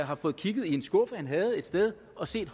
har fået kigget i en skuffe han havde et sted og set